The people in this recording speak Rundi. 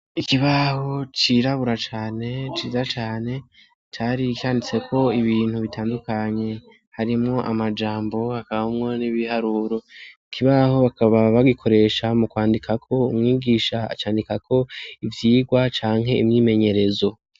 Ikibaho cirabura cane ciza cane cari ikanditseko ibintu bitandukanye harimwo amajambo akabaumwo n'ibiharuro ikibaho bakaba bagikoresha mu kwandikako umwigisha acandika ko ivyirwa canke imwimenyerezo.